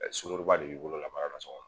Mɛ sungurunba de d'i bolo ka fara nan sɔngɔn kan